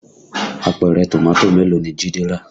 Àpẹrẹ Tomato mélòó ni Jide rà?